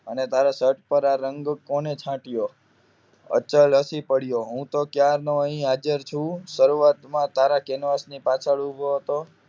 અને તારા શર્ટ પર આ રંગો કોને છાંટયો અચલ હસી પડ્યો હું તો ક્યાંનો અહીંયા હાજર છું શરૂઆતમાં તારા કેનવાસ ની પાછળ ઊભી હતો